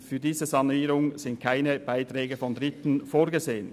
Für diese Sanierung sind keine Beiträge Dritter vorgesehen.